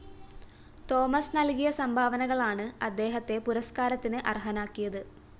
Thomas നല്‍കിയ സംഭാവനകളാണ് അദ്ദേഹത്തെ പുരസ്‌കാരത്തിന് അര്‍ഹനാക്കിയത്